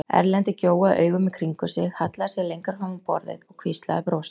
Erlendur gjóaði augum í kringum sig, hallaði sér lengra fram á borðið og hvíslaði brosandi.